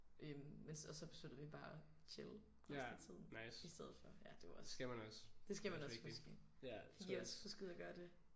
Øh mens og så besluttede vi bare at chille resten af tiden i stedet for ja det var også det skal man også huske. Fik I også husket at gøre det?